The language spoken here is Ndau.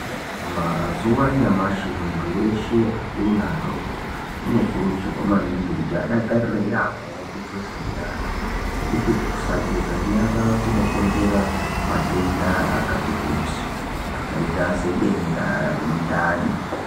Mazuva anyamashi muntu weshe akuru ne adoko uno kurudzirwa maningi kuti adakarire yamho kugeza nyara ngekuti kusa geza nyara kuno konzera matenda akati kuti akaita se denda re mundani.